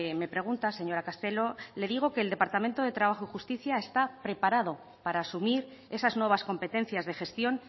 me preguntas señora castelo le digo que el departamento de trabajo y justicia está preparado para asumir esas nuevas competencias de gestión